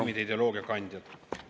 … režiimide ideoloogia kandjad.